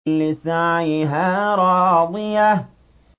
لِّسَعْيِهَا رَاضِيَةٌ